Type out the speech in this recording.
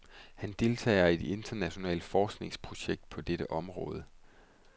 Han deltager i et internationalt forskningsprojekt på dette område.